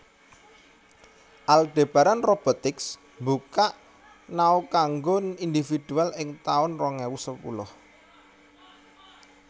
Aldebaran Robotics mbuka Nao kanggo individual ing taun rong ewu sepuluh